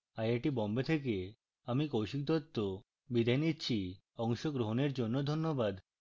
I I T Bombay থেকে আমি কৌশিক দত্ত বিদায় নিচ্ছি অংশগ্রহনের জন্য ধন্যবাদ